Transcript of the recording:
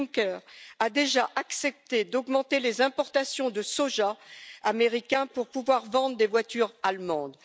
Juncker a déjà accepté d'augmenter les importations de soja américain pour pouvoir vendre des voitures allemandes.